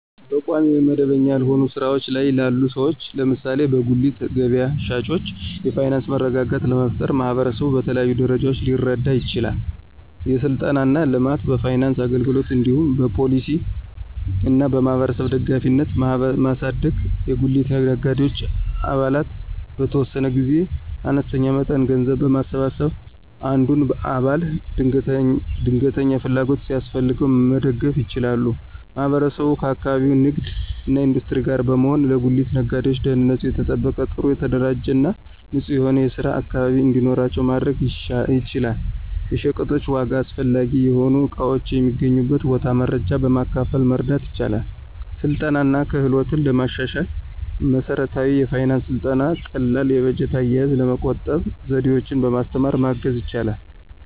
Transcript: በቋሚ ወይም መደበኛ ያልሆነ ሥራ ላይ ላሉ ሰዎች (ለምሳሌ በጉሊት ገበያ ሻጮች) የፋይናንስ መረጋጋት ለመፍጠር ማህበረሰቡ በተለያዩ ደረጃዎች ሊረዳ ይችላል። የሥልጠና እና ልማት፣ በፋይናንስ አገልግሎት እንዲሁም በፖሊሲ እና በማህበረሰብ ደጋፊነትን ማሳደግ። የጉሊት ነጋዴዎች አባላት በተወሰነ ጊዜ አነስተኛ መጠን ገንዘብ በማሰባሰብ አንዱን አባል ድንገተኛ ፍላጎት ሲያስፈልገው መደገፍ ይችላሉ። ማህበረሰቡ ከአካባቢው ንግድ እና ኢንዱስትሪ ጋር በመሆን ለጉሊት ነጋዴዎች ደህንነቱ የተጠበቀ፣ ጥሩ የተደራጀ እና ንጹህ የሆነ የስራ አካባቢ እንዲኖራቸው ማድረግ ይችላል። የሸቀጦች ዋጋ፣ አስፈላጊ የሆኑ እቃዎች የሚገኙበት ቦታ መረጃ በማካፈል መርዳት ይችላል። ስልጠና እና ክህሎትን ለማሻሻል መሠረታዊ የፋይናንስ ሥልጠና ቀላል የበጀት አያያዝ፣ ለመቆጠብ ዘዴዎችን በማስተማር ማገዝ ይችላል።